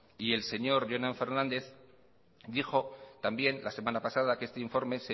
y el señor jonan fernández dijo también la semana pasada que este informe